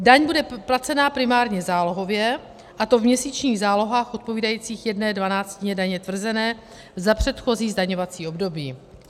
Daň bude placena primárně zálohově, a to v měsíčních zálohách odpovídajících jedné dvanáctině daně tvrzené za předchozí zdaňovací období.